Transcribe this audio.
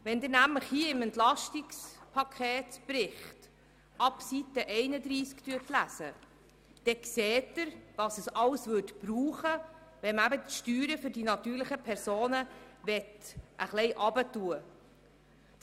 Wenn Sie ab Seite 31 im Bericht über das EP lesen, dann sehen Sie, was alles notwendig wäre, wenn man die Steuern für die natürlichen Personen etwas heruntersetzen möchte.